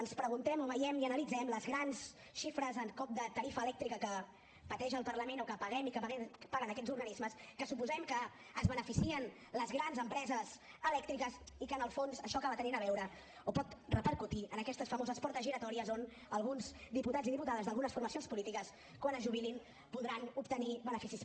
ens preguntem o veiem i analitzem les grans xifres en cop de tarifa elèctrica que pateix el parlament o que paguem i paguen aquests organismes que suposem que se’n beneficien les grans empreses elèctriques i que en el fons això acaba tenint a veure o pot repercutir en aquestes famoses portes giratòries on alguns diputats i diputades d’algunes formacions polítiques quan es jubilin podran obtenir beneficis